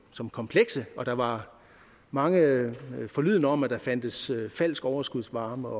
som komplekse og der var mange forlydender om at der fandtes falsk overskudsvarme